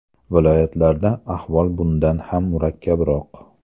Viloyatlarda ahvol bundan ham murakkabroq.